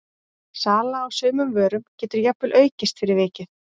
sala á sumum vörum getur jafnvel aukist fyrir vikið